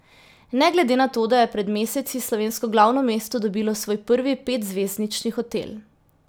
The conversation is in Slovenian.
Ne glede na to, da je pred meseci slovensko glavno mesto dobilo svoj prvi petzvezdnični hotel.